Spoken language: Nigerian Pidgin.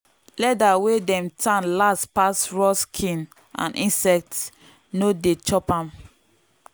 leather wey dem tan last pass raw skin and insect no dey chop am.